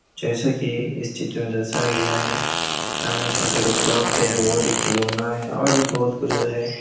जैसा कि इस चित्र में दर्शाया गया हैं सामने छोटे-छोटे कप हैं बहोत ही खिलौना हैं और भी बहोत कुछ जो हैं--